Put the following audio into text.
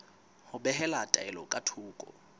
ho behela taelo ka thoko